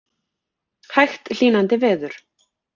Hægt hlýnandi veður